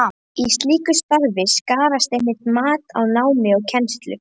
Í slíku starfi skarast einmitt mat á námi og kennslu.